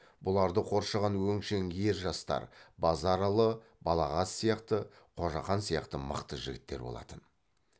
бұларды қоршаған өңшең ер жастар базаралы балағаз сияқты қожақан сияқты мықты жігіттер болатын